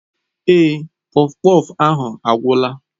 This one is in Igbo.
Èé, kpọfkpọf ahụ agwụla.